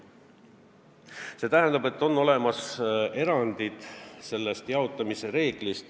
See tähendab, et on olemas erandid, ka sellest jaotamise reeglist.